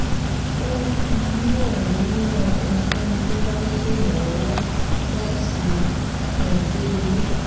ó um ni òun á ran ẹnikéni tó bá nílò ìrànlówó láti um de ile